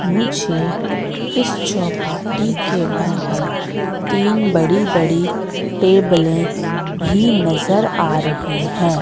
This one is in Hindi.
मुझे इस चौपाटी के बाहर तीन बड़ी-बड़ी टेबले भी नजर आ रही है।